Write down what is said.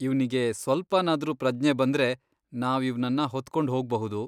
ಇವ್ನಿಗೆ ಸ್ವಲ್ಪನಾದ್ರೂ ಪ್ರಜ್ಞೆ ಬಂದ್ರೆ, ನಾವ್ ಇವ್ನನ್ನ ಹೊತ್ಕೊಂಡ್ ಹೋಗ್ಬಹುದು.